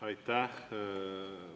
Aitäh!